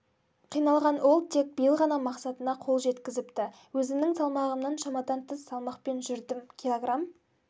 қиналған ол тек биыл ғана мақсатына кол жеткізіпті өзімнің салмағымнан шамадан тыс салмақпен жүрдім киллограм